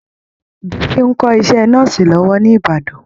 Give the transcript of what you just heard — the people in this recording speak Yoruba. Bisi ń kọ́ iṣẹ́ Nọ́ọ̀sì lọ́wọ́ ní Ìbàdàn